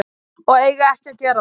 Og eiga ekki að gera það.